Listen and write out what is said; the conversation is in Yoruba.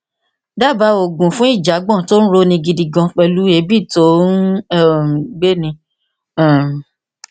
dábàá òògùn fún ìjàgbọn tó ń roni gidi gan pẹlú èébì tó ń um gbéni um